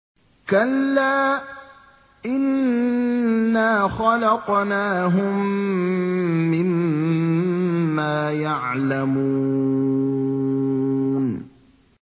كَلَّا ۖ إِنَّا خَلَقْنَاهُم مِّمَّا يَعْلَمُونَ